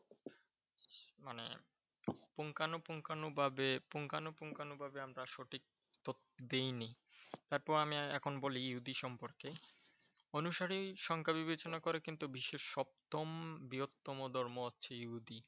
পুঙ্খানু পুঙ্খানু ভাবে পুঙ্খানু পুঙ্খানু ভাবে আমরা সঠিক তথ্য দেই নি। তারপরেও আমি এখন বলি ইহুদী সম্পর্কে। অনুসারী সংখ্যা বিবেচনা করে কিন্তু বিশ্বের সপ্তম বৃহত্তম ধর্ম হচ্ছে ইহুদী ।